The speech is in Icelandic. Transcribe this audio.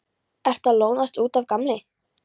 Ertu að lognast út af, gamli?